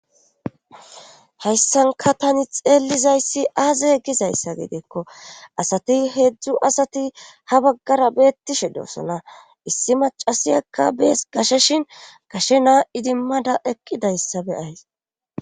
hayssanka tani xeellizayssi aaza he gizayssa gidiikko asati heedzdzu asati ha baggara beettishe doosona issi macasiyakka bees gasheshin gashe naa idimmada eqqidayssa be'ays